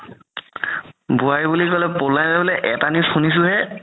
বোৱাৰি বুলি ক'লে এটা news শুনিছো হে